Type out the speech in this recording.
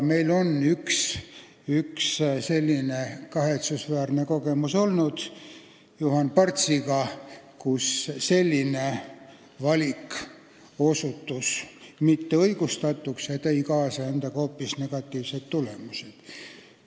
Meil on selles vallas kahetsusväärne kogemus Juhan Partsi näol olemas: valik osutus mitteõigustatuks ja tõi endaga kaasa halbu tagajärgi.